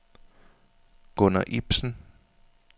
Gunner Ibsen